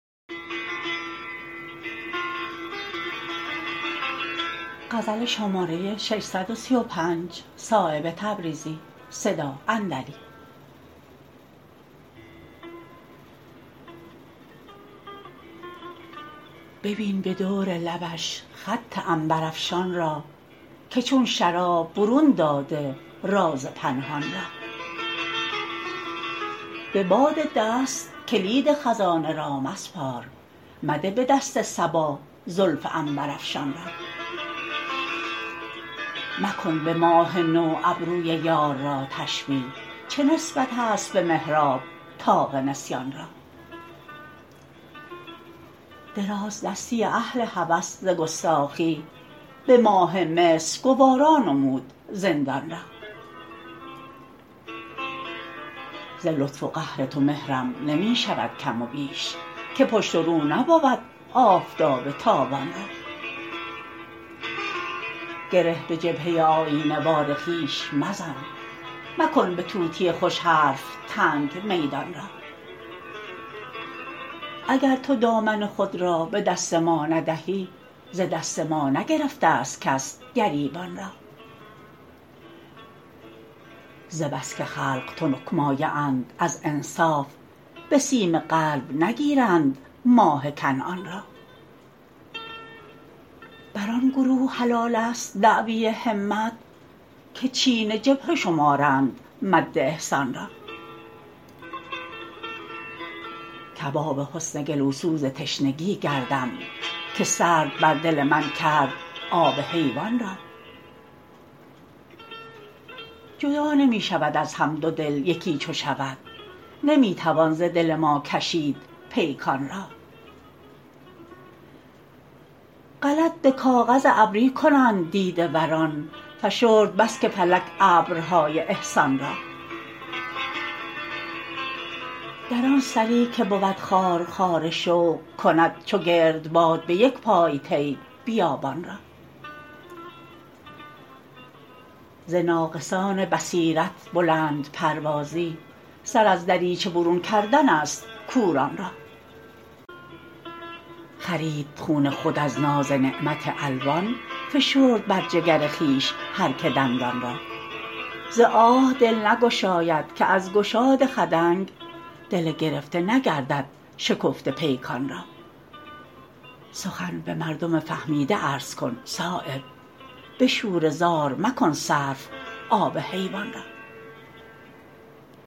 ببین به دور لبش خط عنبرافشان را که چون شراب برون داده راز پنهان را به باد دست کلید خزانه را مسپار مده به دست صبا زلف عنبرافشان را مکن به ماه نو ابروی یار را تشبیه چه نسبت است به محراب طاق نسیان را درازدستی اهل هوس ز گستاخی به ماه مصر گوارا نمود زندان را ز لطف و قهر تو مهرم نمی شود کم و بیش که پشت و رو نبود آفتاب تابان را گره به جبهه آیینه وار خویش مزن مکن به طوطی خوش حرف تنگ میدان را اگر تو دامن خود را به دست ما ندهی ز دست ما نگرفته است کس گریبان را ز بس که خلق تنک مایه اند از انصاف به سیم قلب نگیرند ماه کنعان را بر آن گروه حلال است دعوی همت که چین جبهه شمارند مد احسان را کباب حسن گلوسوز تشنگی گردم که سرد بر دل من کرد آب حیوان را جدا نمی شود از هم دو دل یکی چو شود نمی توان ز دل ما کشید پیکان را غلط به کاغذ ابری کنند دیده وران فشرد بس که فلک ابرهای احسان را در آن سری که بود خارخار شوق کند چو گردباد به یک پای طی بیابان را ز ناقصان بصیرت بلندپروازی سر از دریچه برون کردن است کوران را خرید خون خود از ناز نعمت الوان فشرد بر جگر خویش هر که دندان را ز آه دل نگشاید که از گشاد خدنگ دل گرفته نگردد شکفته پیکان را سخن به مردم فهمیده عرض کن صایب به شوره زار مکن صرف آب حیوان را